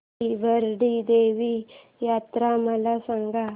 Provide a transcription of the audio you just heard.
श्री भराडी देवी यात्रा मला सांग